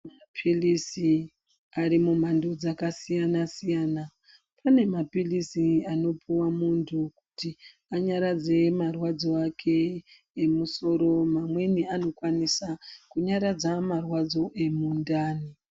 Maphirizi ari mumhando dzakasiyana siyana pane maphirizi anopuhwa muntu kuti anyaradze marwadzo ake emusoro amweni anokwanisa kunyaradza marwadzo emundani.